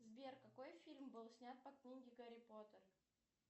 сбер какой фильм был снят по книге гарри поттер